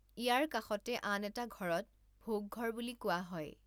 ইয়াৰ কাষতে আন এটা ঘৰত ভোগঘৰ বুলি কোৱা হয়।